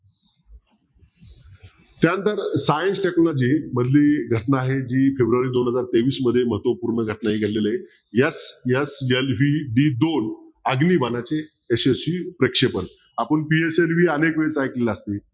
त्यानंतर science technology मधली घटना आहे जी ती फेब्रुवारी दोन हजार तेवीस मध्ये महत्वपूर्ण घटना ही घडलेली आहे sslv ही दोन अग्निबाणाचे यशस्वी प्रेक्षेपण आपण अनेकवेळी ऐकलेलं असेल